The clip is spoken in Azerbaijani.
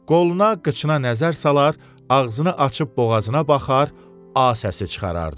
Qoluna, qıçına nəzər salar, ağzını açıb boğazına baxar, A səsi çıxarardı.